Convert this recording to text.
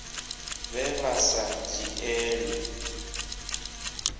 vhe vha vha sa dzhielwi